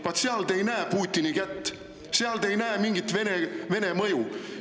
Vaat seal te ei näe Putini kätt, seal te ei näe mingit Vene mõju!